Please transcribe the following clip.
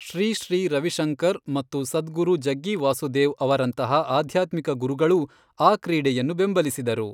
ಶ್ರೀ ಶ್ರೀ ರವಿಶಂಕರ್ ಮತ್ತು ಸದ್ಗುರು ಜಗ್ಗಿ ವಾಸುದೇವ್ ಅವರಂತಹ ಆಧ್ಯಾತ್ಮಿಕ ಗುರುಗಳೂ ಆ ಕ್ರೀಡೆಯನ್ನು ಬೆಂಬಲಿಸಿದರು.